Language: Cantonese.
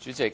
主席，